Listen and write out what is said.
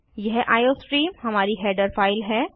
यह आईओस्ट्रीम हमारी header file है